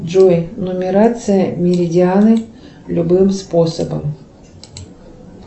джой нумерация меридианы любым способом